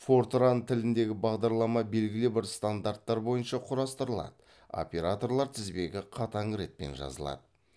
фортран тіліндегі бағдарлама белгілі бір стандарттар бойынша құрастырылады операторлар тізбегі қатаң ретпен жазылады